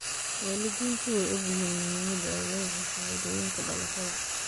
Waalidiintu way ogyihiin muhiimadda ay leedahay shahaadooyinka dhalashada.